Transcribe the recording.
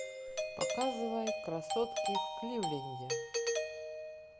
показывай красотки в кливленде